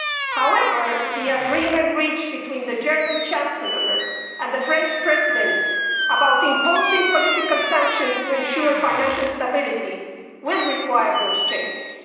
However, the agreement reached between the German Chancellor and the French President about imposing political sanctions to ensure financial stability will require those changes.